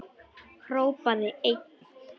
Hrópaði einn: